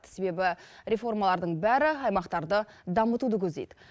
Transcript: себебі реформалардың бәрі аймақтарды дамытуды көздейді